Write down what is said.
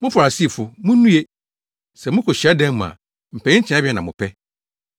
“Mo Farisifo, munnue! Sɛ mokɔ hyiadan mu a, mpanyin tenabea na mopɛ.